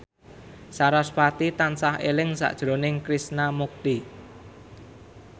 sarasvati tansah eling sakjroning Krishna Mukti